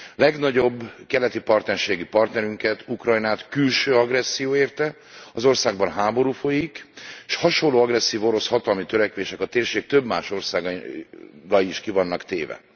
Legnagyobb keleti partnerségi partnerünket, Ukrajnát külső agresszió érte, az országban háború folyik, s hasonló agresszív orosz hatalmi törekvéseknek a térség több más országa is ki van téve.